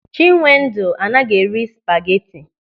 Chinwendu anaghị eri spageti.